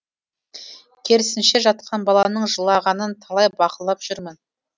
керісінше жатқан баланың жылағанын талай бақылап жүрмін